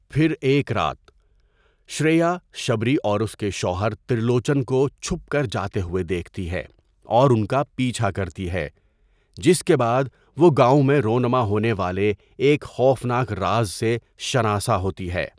پھر، ایک رات، شریا شبری اور اس کے شوہر ترلوچن کو چھپ کر جاتے ہوئے دیکھتی ہے، اور ان کا پیچھا کرتی ہے، جس کے بعد وہ گاؤں میں رونما ہونے والے ایک خوفناک راز سے شناسا ہوتی ہے۔